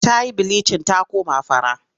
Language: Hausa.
Ta yi bilicin ta koma fara.